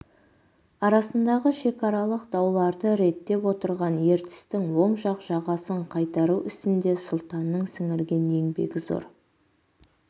арасындағы шекаралық дауларды реттеп отырған ертістің оң жақ жағасын қайтару ісінде сұлтанның сіңірген еңбегі зор